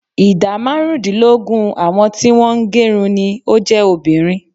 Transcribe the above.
Ìdá márùndínlógún àwọn tí wọ́n ń gerun ni ó jẹ́ obìnrin.